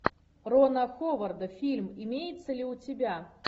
рона ховарда фильм имеется ли у тебя